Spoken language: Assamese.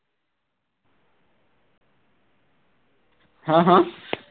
হা হা